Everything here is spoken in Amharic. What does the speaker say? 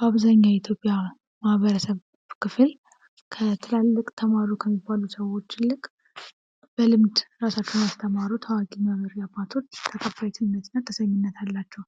በአብዛኛው የኢትዮጵያ ማህበረሰብ ክፍል ከትላልቅ ተማሩ ከሚባሉ ሰዎች ይልቅ በልምድ በራሳቸው ያስተማሩት አዋቂና መሪ አባቶች ተቀባይነትና ተሰሚነት አላቸው